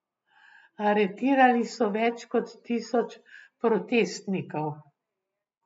Aretirali so več kot tisoč protestnikov.